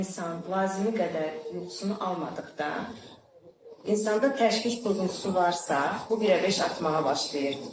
İnsan lazımı qədər yuxusunu almadıqda insanda təşviş, qorxusu varsa, bu belə peş artmağa başlayır.